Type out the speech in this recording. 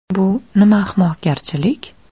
Bu nima ahmoqgarchilik?